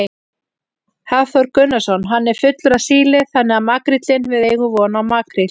Hafþór Gunnarsson: Hann er fullur af síli þannig að makríllinn, við eigum von á makríl?